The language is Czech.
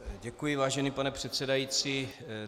Děkuji, vážený pane předsedající.